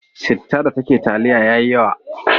Citta da ke taliya ya yi yawa.